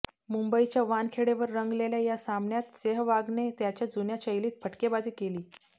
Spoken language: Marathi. मुंबईच्या वानखेडेवर रंगलेल्या या सामन्यात सेहवागने त्याच्या जुन्या शैलीत फटकेबाजी केली